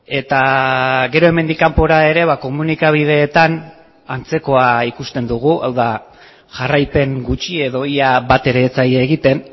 eta gero hemendik kanpora ere komunikabideetan antzekoa ikusten dugu hau da jarraipen gutxi edo ia bat ere ez zaie egiten